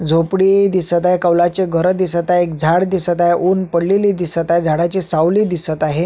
झोपडी दिसत आहे कौलाचे घर दिसत आहे एक झाड दिसत आहे उन पडलेली दिसत आहे झाडाची सावली दिसत आहे.